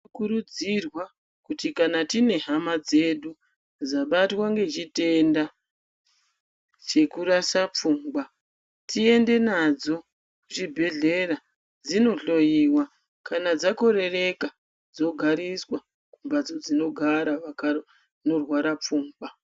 Tinokurudzirwa kuti kana tine hama dzedu dzabatwa ngechitenda chekurasa pfungwa teiende nadzo kuchibhedhlera dzinohloyiwa kana dzakorereka dzogariswa mumphatso dzinogara vanorwara pfungwa.